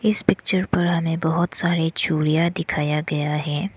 इस पिक्चर पर हमें बहुत सारे चूड़ियां दिखाया गया है।